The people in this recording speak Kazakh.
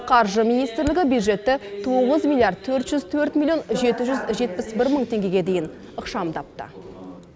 қаржы министрлігі бюджетті тоғыз миллиард төрт жүз төрт миллион жеті жүз жетпіс бір мың теңгеге дейін ықшамдапты